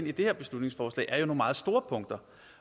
i det her beslutningsforslag er jo meget store punkter